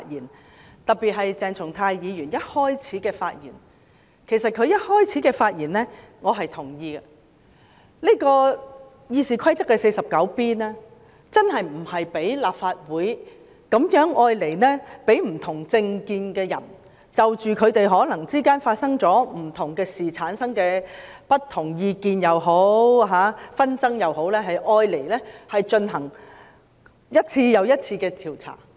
我特別同意鄭松泰議員發言的開首部分，就是《議事規則》第 49B 條不是用來讓立法會內持不同政見的人，為了彼此間可能因發生各種事情而產生的不同意見或紛爭，進行一次又一次的調查。